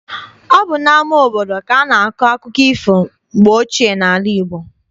Ọ bụ n'ama obodo ka a na-akọ akụkọ ifo mgbe ochie n'ala Igbo.